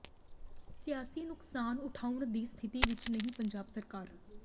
ਸਿਆਸੀ ਨੁਕਸਾਨ ਉਠਾਉਣ ਦੀ ਸਥਿਤੀ ਵਿੱਚ ਨਹੀਂ ਪੰਜਾਬ ਸਰਕਾਰ